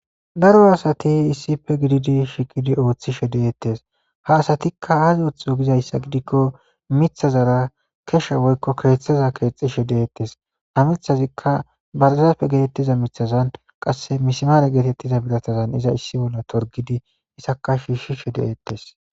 Daro asati issife gididi shikidi ooththishe deettes ha asatikka haazi ooththo gizayssa gidikko mithazara kesha woykko keexhtheza keexxishe deettes ha mithazikka barzape geetettiza mithazan qasse mismaare geetettiza bilatazan iza issi bolla torgidi issaka shiishi she deettes.